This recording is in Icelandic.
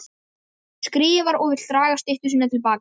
Hún skrifar og vill draga styttu sína til baka.